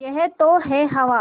यह तो है हवा